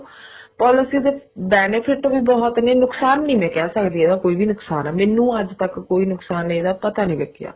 policy ਦੇ benefit ਵੀ ਬਹੁਤ ਨੇ ਨੁਕਸਾਨ ਨੀ ਮੈਂ ਕਹਿ ਸਕਦੀ ਇਹਦਾ ਕੋਈ ਵੀ ਨੁਕਸਾਨ ਹੈ ਮੈਨੂੰ ਅੱਜ ਤਕ ਕੋਈ ਨੁਕਸਾਨ ਇਹਦਾ ਪਤਾ ਨੀ ਲੱਗਿਆ